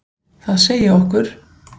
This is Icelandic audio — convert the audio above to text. Það segi okkur: